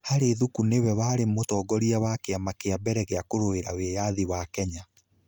Harry Thuku nĩ we warĩ mũtongoria wa kĩama kĩa mbere gĩa kũrũĩrĩra wĩyathi wa Kenya.